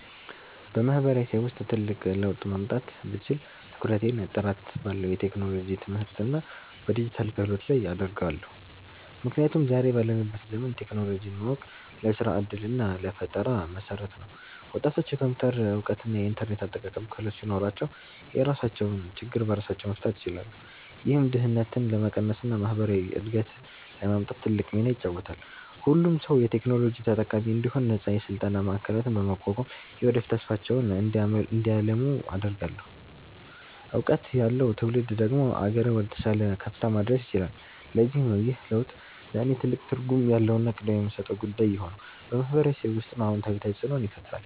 በማህበረሰቤ ውስጥ ትልቅ ለውጥ ማምጣት ብችል፣ ትኩረቴን ጥራት ባለው የቴክኖሎጂ ትምህርትና በዲጂታል ክህሎት ላይ አደርጋለሁ። ምክንያቱም ዛሬ ባለንበት ዘመን ቴክኖሎጂን ማወቅ ለስራ ዕድልና ለፈጠራ መሠረት ነው። ወጣቶች የኮምፒውተር እውቀትና የኢንተርኔት አጠቃቀም ክህሎት ሲኖራቸው፣ የራሳቸውን ችግር በራሳቸው መፍታት ይችላሉ። ይህም ድህነትን ለመቀነስና ማህበራዊ እድገትን ለማምጣት ትልቅ ሚና ይጫወታል። ሁሉም ሰው የቴክኖሎጂ ተጠቃሚ እንዲሆን ነፃ የስልጠና ማዕከላትን በማቋቋም፣ የወደፊት ተስፋቸውን እንዲያልሙ አደርጋለሁ። እውቀት ያለው ትውልድ ደግሞ አገርን ወደተሻለ ከፍታ ማድረስ ይችላል። ለዚህም ነው ይህ ለውጥ ለእኔ ትልቅ ትርጉም ያለውና ቅድሚያ የምሰጠው ጉዳይ የሆነው፤ በማህበረሰቤ ውስጥም አዎንታዊ ተፅእኖን ይፈጥራል።